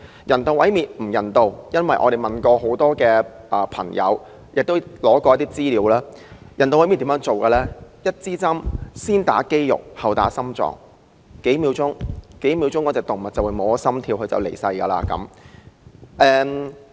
人道毀滅並不人道，我們曾向很多人士查詢，得到的資料是進行人道毀滅時，先用針把藥物注射入肌肉，然後再注射到心臟，令動物在數秒內心跳停頓，繼而離世。